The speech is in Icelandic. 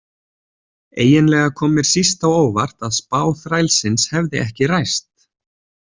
Eiginlega kom mér síst á óvart að spá þrælsins hefði ekki ræst.